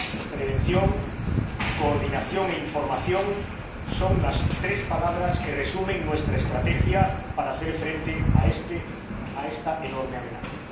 Prevención, coordinación e información son las tres palabras que resumen nuestra estrategia para hacer frente a esta enorme amenaza.